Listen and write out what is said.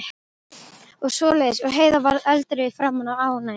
og svoleiðis, og Heiða varð eldrauð í framan af ánægju.